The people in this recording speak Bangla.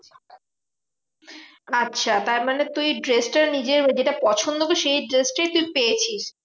আচ্ছা তারমানে তুই dress টা নিজের ওই যেটা পছন্দ করে সেই dress টাই তুই পেয়েছিস।